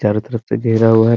चारो तरफ से घेरा हुआ है ।